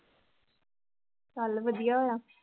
ਚੱਲ ਵਧੀਆ ਹੋਇਆ।